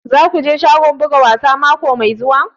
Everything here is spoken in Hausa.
Za ku je shagon buga wasa mako mai zuwa?